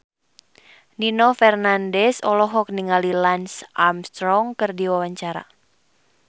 Nino Fernandez olohok ningali Lance Armstrong keur diwawancara